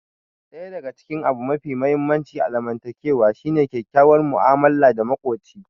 Ɗaya daga cikin abu mafi muhimmanci a zamantakewa shine kyakkyawar mu'amala da makoci.